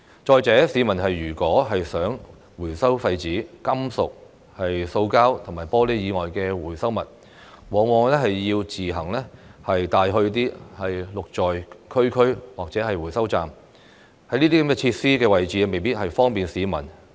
再者，市民如果想回收廢紙、金屬、塑膠及玻璃以外的回收物，往往要自己送去"綠在區區"或者回收站，但這些設施的位置未必方便市民。